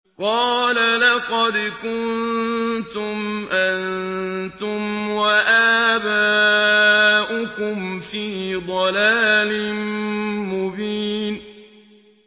قَالَ لَقَدْ كُنتُمْ أَنتُمْ وَآبَاؤُكُمْ فِي ضَلَالٍ مُّبِينٍ